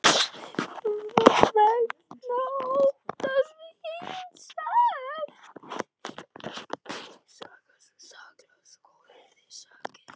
Vegna óttans við eigin sekt.